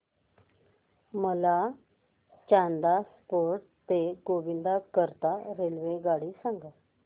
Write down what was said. मला चांदा फोर्ट ते गोंदिया करीता रेल्वेगाडी सांगा